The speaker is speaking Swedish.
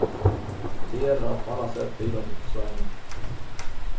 Det gäller att på alla sätt bidra till försörjningen.